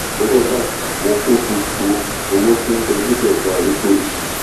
mo bá tọwọ́ b'àpò mo kó gbogbo owó tí nbẹ níbẹ̀ fún arúgbó yìí